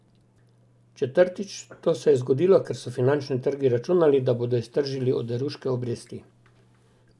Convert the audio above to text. Četrtič, to se je lahko zgodilo, ker so finančni trgi računali, da bodo iztržili oderuške obresti.